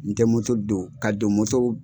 N tɛ don ka don